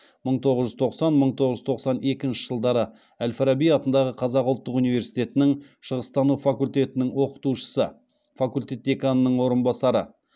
мың тоғыз жүз тоқсан мың тоғыз жүз тоқсан екінші жылдары әл фараби атындағы қазақ ұлттық университетінің шығыстану факультетінің оқытушысы факультет деканының орынбасары